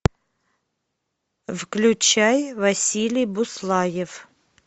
включай василий буслаев